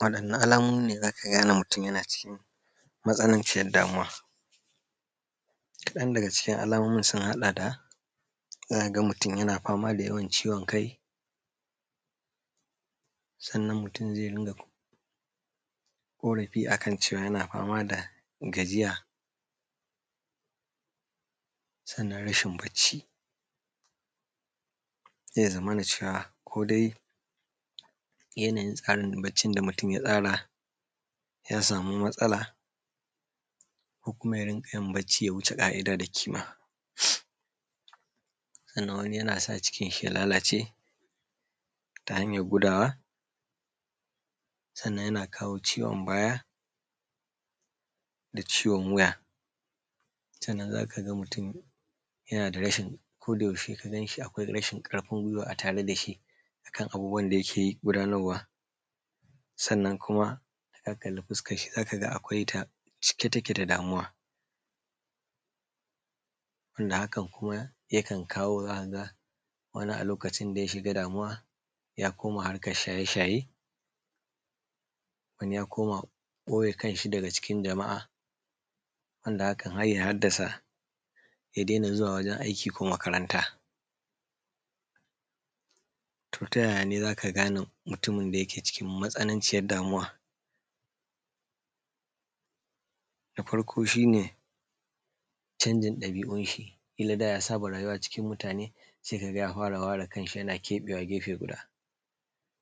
Waɗanne alamomine zaka gane mutun yana cikin matsalan cikin damuwa? Kaɗan daga cikin alamomin sun haɗa da zakaga mutun yana famada yawan ciwon kai, sannan mutun zai rinƙa korafi akan cewa yana famada gajiya, sannan rashin bacci. Zai zama cewa kodai yanayin tsarin baccin da mutun ya tsara ya samu matsala ko kuma ya rinƙayin bacci ya wuce ka’ida da ƙima. Sannan wani yanasa cikinshi ya lalace ta hanyan gudawa, sannan yana kawo ciwon baya da ciwon wuya. Sannan zakaga mutun yanada rashin akoda yaushe ka ganshi akwai rashin ƙarfin guiwa a tare dashi akan abubuwan da yake gudanarwa. Sannan kuma idan ka kalli fuskanshi zakaga akwai ta cike take da damuwa, wanda hakan kuma yakan kawo zakaga wani a lokacin da yashiga damuwa zakaga ya koma shaye shaye, wani ya koma ɓoye kanshi daga cikin jama’a wanda hakan harya haddasa ya daina zuwa gurin aiki ko makaranta. Tota yayane zaka gane mutumin dake cikin matsananciyan damuwa? Na farko Shine chanjin ɗabi’unshi kila da yasaba rayuwa cikin mutane sai kaga ya fara ware kanshi yana keɓe gefe guda.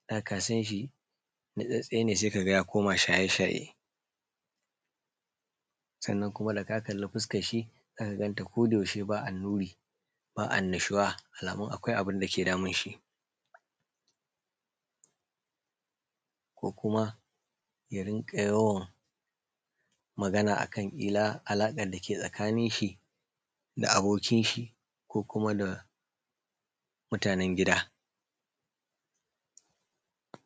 Da kasanshi natsatstsene sai kaga ya fara komawa shaye shaye sannan kuma daka kalli fuskanshi saika ganta ko yaushe ba annuri ba annushuwa ma’ana akwai abunda ke damunshi ko kuma yarinƙa yawan Magana akan alaƙan dake tsakaninshi da abokinshi ko kuma da mutanen gida.